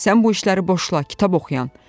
Sən bu işləri boşla kitab oxuyan.